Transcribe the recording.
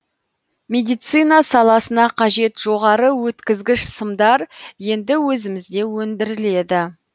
медицина саласына қажет жоғары өткізгіш сымдар енді өзімізде өндіріледі